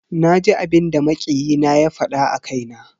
Naji abinda makiyi na ya fada a kaina.